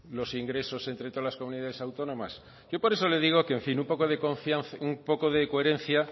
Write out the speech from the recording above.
los ingresos entre todas las comunidades autónomas yo por eso le digo que en fin un poco de coherencia